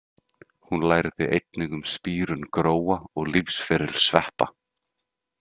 Hún lærði einnig um spírun gróa og lífsferil sveppa.